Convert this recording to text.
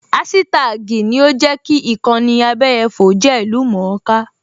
Áṣítá́àgì ni ó jẹ́ kí ìkànnì abẹyẹfò jẹ́ ìlú-mọ̀-ọ́n-ká